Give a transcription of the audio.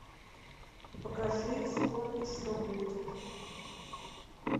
покажи вспомни что будет